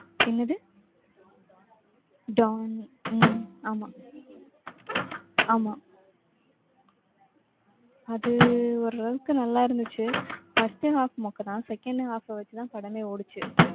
என்னது? don உம் ஆமா ஆமா அதூ ஒரு அளவுக்கு நல்லா இருந்துச்சு, first half மொக்க தான், second half அ வச்சு தான் படமே ஓடுச்சு.